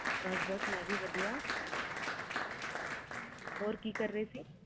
ਬਸ ਬਸ ਮੈਂ ਵੀ ਵਧੀਆ ਹੋਰ ਕਿ ਕਰ ਰਹੇ ਸੀ